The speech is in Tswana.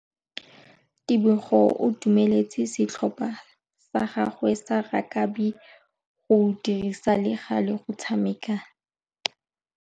Tebogô o dumeletse setlhopha sa gagwe sa rakabi go dirisa le galê go tshameka.